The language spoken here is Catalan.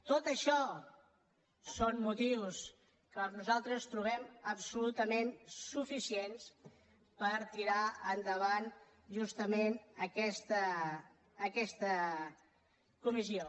tot això són motius que nosaltres trobem absolutament suficients per tirar endavant justament aquesta comissió